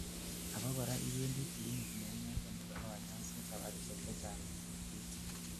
abakora iwendi clinic neinegen nebo kanyoiset sabarishek chechang en wikit